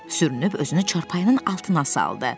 Sürünüb özünü çarpayının altına saldı.